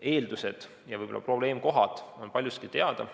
Eeldused ja võib-olla probleemkohad on paljuski teada.